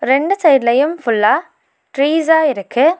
ரண்டு சைடுலயும் ஃபுல்லா ட்ரீஸ்சா இருக்கு.